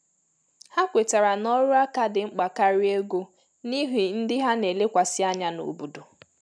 Ha kwetara ná ọrụ áká dị mkpa karịa ego, n’ihi ndị ha na elekwasi ànyà n'obodo